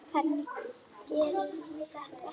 Hvernig gerirðu þetta?